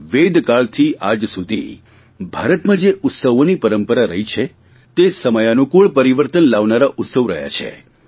વેદકાળથી આજ સુધી ભારતમાં જે ઉત્સવોની પરંપરા રહી છે તે સમયાનુકુળ પરિવર્તન લાવનારા ઉત્સવ રહ્યા છે